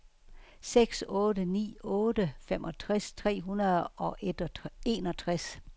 seks otte ni otte femogtres tre hundrede og enogtres